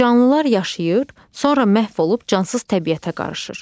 Canlılar yaşayır, sonra məhv olub cansız təbiətə qarışır.